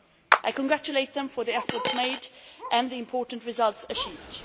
I congratulate them for the efforts made and the important results achieved.